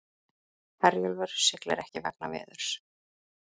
Herjólfur siglir ekki vegna veðurs